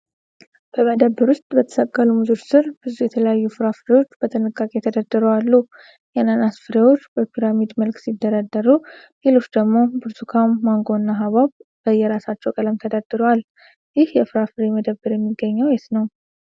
በመደብር ውስጥ በተሰቀሉ ሙዞች ስር፣ ብዙ የተለያዩ ፍራፍሬዎች በጥንቃቄ ተደርድረው አሉ። የአናናስ ፍሬዎች በፒራሚድ መልክ ሲደረደሩ፣ ሌሎች ደግሞ ብርቱካን፣ መንጎ እና ሐብሐብ በየራሳቸው ቀለም ተደርድረዋል። ይህ የፍራፍሬ መደብር የሚገኘው የት ነው?